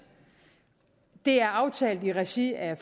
det er aftalt i regi af